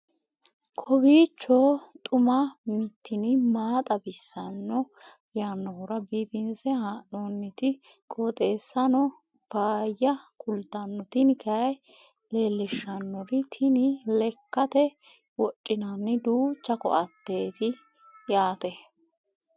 kowiicho xuma mtini maa xawissanno yaannohura biifinse haa'noonniti qooxeessano faayya kultanno tini kayi leellishshannori tini lekkate wodhinanni duucha koateeti yaate